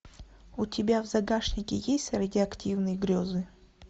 у тебя в загашнике есть радиоактивные грезы